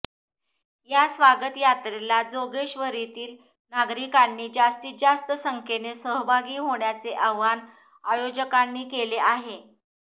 या स्वागत यात्रेला जोगेश्वरीतील नागरिकांनी जास्तीत जास्त संख्येने सहभागी होण्याचे आवाहन आयोजकांनी केले आहे